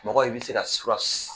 Mɔgɔ i bɛ se ka